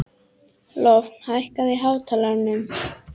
Lofn, hækkaðu í hátalaranum.